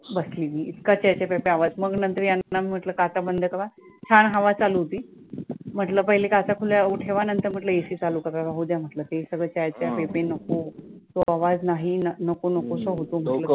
बसली मी इतका च्यां च्यां प्यां प्यां आवाज मग नंतर यांना मी म्हंटलं काचा बंद करा, छान हवा चालू होती म्हंटलं पहिले काचा खुल्या ठेवा नंतर म्हंटलं AC चालू करा, राहूद्या म्हंटलं ते सगळं च्यां च्यां प्यां प्यां नको तो आवाज नाही नको नकोसा होतो.